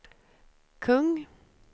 kung